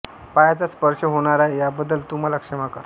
पायांचा स्पर्श होणार आहे याबद्दल तू मला क्षमा कर